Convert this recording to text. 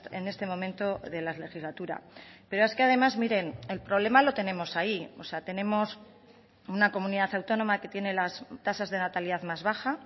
en este momento de la legislatura pero es que además miren el problema lo tenemos ahí o sea tenemos una comunidad autónoma que tiene las tasas de natalidad más baja